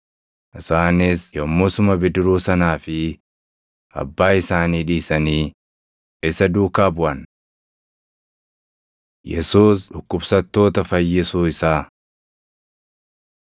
isaanis yommusuma bidiruu sanaa fi abbaa isaanii dhiisanii isa duukaa buʼan. Yesuus Dhukkubsattoota Fayyisuu Isaa